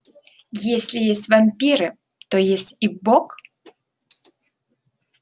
если есть вампиры то есть и бог